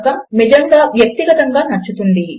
కనుక అది నిజముగా మీకు వ్యక్తిగతముగా నచ్చుతుంది